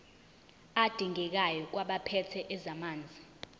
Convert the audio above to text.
adingekayo kwabaphethe ezamanzi